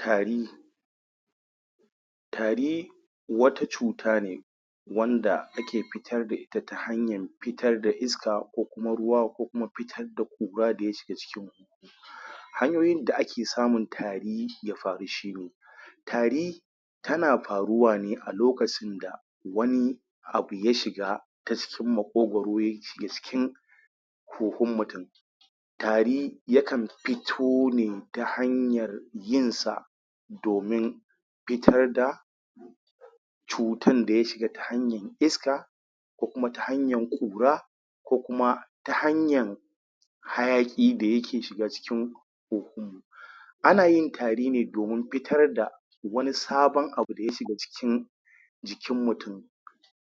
Tari tari wata cuta ne wanda ta ke fitar da datti hanyan fitar da iska ko na ruwa ko kuma fitar da ƙura da ya shiga cikin hanyoyin da ake samun tari ya faru shi ne tari tana faruwa ne a lokacin da wani abu ya shiga ta cikin maƙogoro ya shiga cikin huhun mutun tari yakan fito ne ta hanyar yin sa domin fitar da cutan da ya shiga ta hanyan iska ko kuma ta hanyan ƙura ko kuma ta hanyan hayaƙi da yake shiga cikin huhun ana yin tari ne domin fitar da wani sabon abu da ya shiga cikin jikin mutun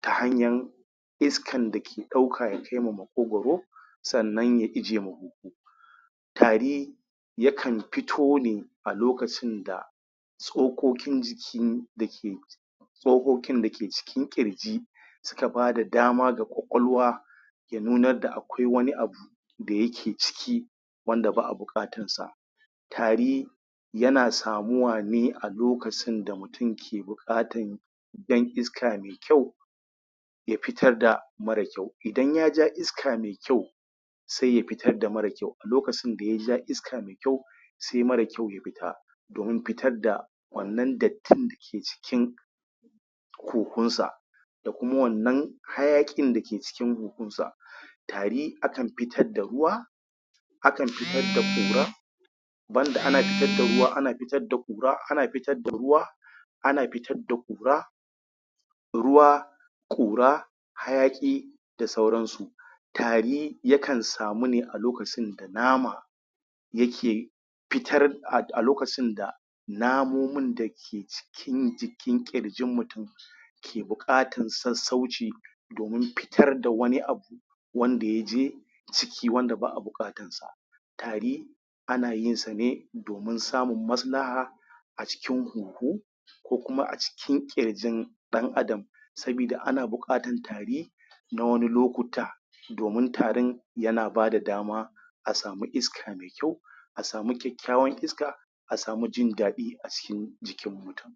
ta hanyan iskan dake ɗauka ya kai ma ma ƙogoro sannan ya ije ma tari ya kan fito ne a lokacin da tsokokin ji kin dake tsokokin dake cikin ƙirji suka bada dama ga ƙwaƙwalwa ya nunad da akwai wani abu da yake ciki wanda ba'a buƙatan sa tari yana samuwa ne a lokacin da mutun ke buƙatan ɗan iska mai kyau ya fitar da mara kyau, idan yaja iska mai kyau sai ya fitar da mara kyau a lokacin da yaja iska mai kyau sai mara kyau ya fita domin fitar da wannan dattin da ke cikin kohun sa da kuma wannan hayaƙin dake cikin huhun sa tari akan fitar da ruwa a kan fitad da ƙura banda ana fitad da ruwa ana fitad da ƙura, ana fitad da ruwa ana fitad da ƙura ruwa ƙura hayaƙi da sauran su tari yakan samu ne a lokacin nama yake fitar a lokacin da namomin dake ci kin ƙirjin mutum ke buƙatan sassauci domin fitar da wani abu wanda yaje ciki wanda ba'a buƙatan sa tari ana yin sa ne domin samun maslaha a cikin huhu ko kuma a cikin ƙirjin ɗan adam sabida ana buƙatan tari na wani lokuta domin tarin yana bada dama a samu iska mai kyau a samu kyakkyawan iska a samu jin daɗi acikin jikin mutun.